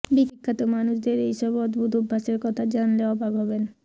বিখ্যাত মানুষদের এই সব অদ্ভুত অভ্যাসের কথা জানলে অবাক হবেন